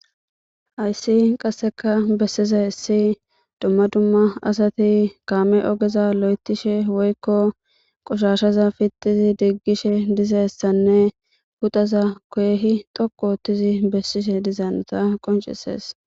Haysi qaseka besizays dumma dumma asati mame ogeza lo'ethashe woyko qoshashza pitidi digishe dizaysinne potoza keehid xiqu oothid besishe diza hanota qoncises